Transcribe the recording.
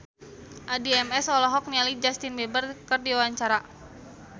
Addie MS olohok ningali Justin Beiber keur diwawancara